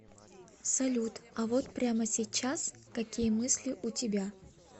салют а вот прямо сейчас какие мысли у тебя